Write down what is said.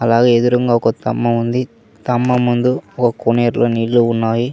అలాగే ఎదురుంగా ఒక స్తంభం ఉంది స్తంభం ముందు కోనేరులో నీళ్లు ఉన్నాయి.